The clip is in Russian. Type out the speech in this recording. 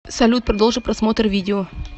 салют продолжи просмотр видео